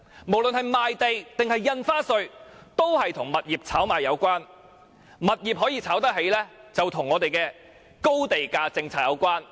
無論是賣地收入或印花稅，均與物業炒賣有關，物業可以炒得起，就與我們的高地價政策有關。